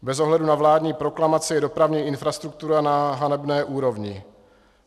Bez ohledu na vládní proklamaci je dopravní infrastruktura na hanebné úrovni.